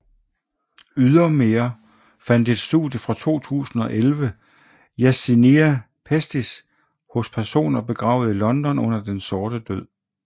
Ydermere fandt et studie fra 2011 Yersinia pestis hos personer begravet i London under Den sorte død